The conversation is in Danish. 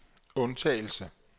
undtagelse